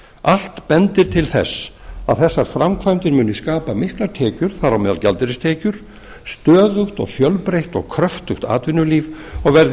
allt bendir til þess að þessar framkvæmdir munu skapa miklar tekjur þar á meðal gjaldeyristekjur stöðugt og fjölbreytt g kröftugt atvinnulíf og verði